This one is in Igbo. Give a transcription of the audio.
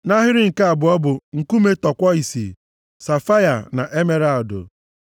nʼahịrị nke abụọ bụ: nkume tọkwọisi, safaia na emeralụdụ.